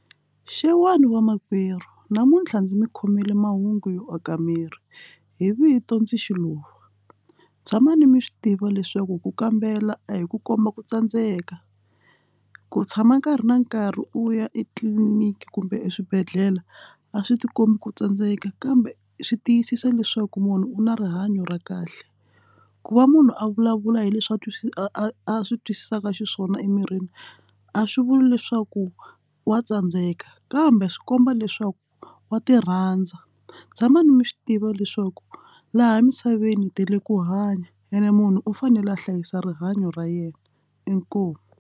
Xewani va makwerhu namuntlha ndzi mi khomile mahungu yo aka miri hi vito ndzi Xiluva tshamani mi swi tiva leswaku ku kambela a hi ku komba ku tsandzeka ku tshama nkarhi na nkarhi u ya etliliniki kumbe eswibedhlele a swi ti kombi ku tsandzeka kambe swi tiyisisa leswaku munhu u na rihanyo ra kahle ku va munhu a vulavula hi leswi a twisisa a swi twisisaka xiswona emirini a swi vuli leswaku wa tsandzeka a kambe swi komba leswaku wa ti rhandza tshama ni mi swi tiva leswaku laha emisaveni hi tele ku hanya ene munhu u fanele a hlayisa rihanyo ra yena. inkomu.